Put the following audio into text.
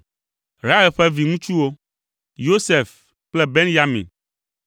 Rahel ƒe viŋutsuwo: Yosef kple Benyamin.